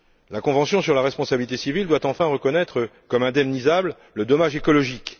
La convention sur la responsabilité civile doit enfin reconnaître comme indemnisable le dommage écologique.